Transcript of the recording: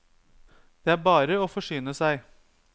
Det er bare å forsyne seg.